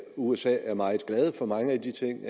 usa er meget glad for mange af de ting